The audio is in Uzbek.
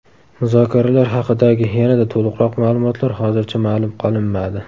Muzokaralar haqidagi yanada to‘liqroq ma’lumotlar hozircha ma’lum qilinmadi.